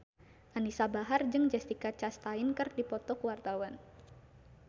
Anisa Bahar jeung Jessica Chastain keur dipoto ku wartawan